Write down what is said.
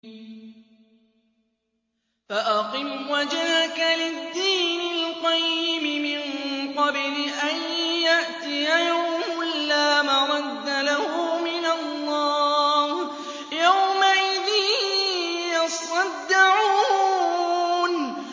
فَأَقِمْ وَجْهَكَ لِلدِّينِ الْقَيِّمِ مِن قَبْلِ أَن يَأْتِيَ يَوْمٌ لَّا مَرَدَّ لَهُ مِنَ اللَّهِ ۖ يَوْمَئِذٍ يَصَّدَّعُونَ